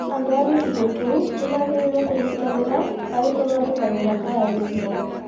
Andũ a gĩcigo kĩu nĩ magĩrĩirũo kũnyitanĩra harĩ gũthondeka mĩhaka ya gĩcigo.